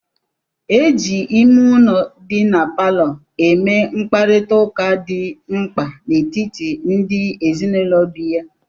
E ji ime ụlọ dị na palọ eme mkparịta ụka dị mkpa n'etiti ndị ezinụlọ bi ya.